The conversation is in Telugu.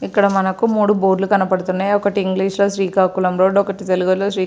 ఇక్కడ మంకు మూడు బోర్డు లు కనబడుతున్నాయి ఒకటి ఇంగ్లీష్ లో శ్రీకాకుళం రోడ్ ఒకటి తెలుగు లో శ్రీ --